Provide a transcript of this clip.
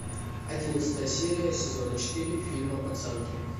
одиннадцатая серия сезона четыре фильма пацанки